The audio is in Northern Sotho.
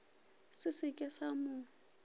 se se ke sa mo